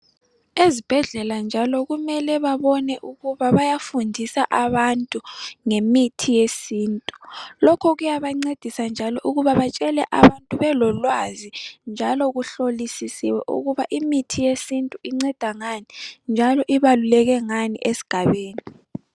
Ezibhedlela njalo kumele babone ukubabayafundisa abantu ngemithi yesintu. Lokhu kuyabancedisa njalo ukuba batshele abantu babelolwazi ukuthi imithi yesintu inceda ngani njalo ibalululeke ngani esigabeni.